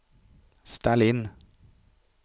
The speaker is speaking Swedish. ställ in